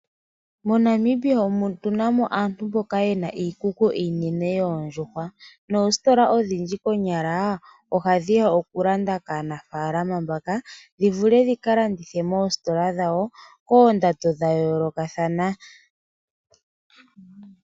Monamibia otu namo aantu mboka yena iikuku iinene yondjuhwa, noositola odhindji konyala oha dhiya oku landa kaanafalama mbaka dhivule dhika landithe mositola dhawo kondando dha yoloka thana.